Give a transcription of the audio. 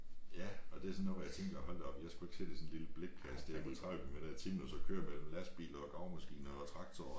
Ja og det er sådan noget hvor jeg tænker hold da op jeg skulle ikke sidde i sådan en lille blikkasse der på 30 kilometer i timen og så køre mellem lastbiler og gravemaskiner og traktorer